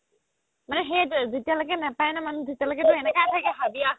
মানে সেইটোৱে যেতিয়া লৈকে নেপাই নহয় মানুহে তেতিয়া লৈকে